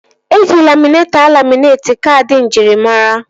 Eji laminetọ alaminetị kaadị njirimara